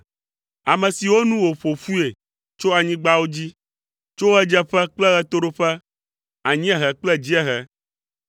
ame siwo nu wòƒo ƒui tso anyigbawo dzi, tso ɣedzeƒe kple ɣetoɖoƒe, anyiehe kple dziehe.